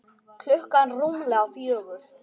Klukkan rúmlega fjögur.